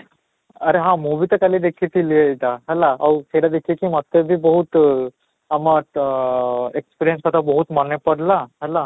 ଆରେ ହଁ ମୁଁ ବି ତ କାଲି ଦେଖିଥିଲି ଏଇଟା ହେଲା ଆଉ ସେଇଟା ଦେଖି କି ମୋତେ ବି ବହୁତ ଆମର ତ experience କଥା ବହୁତ ମନେ ପଡିଲା ହେଲା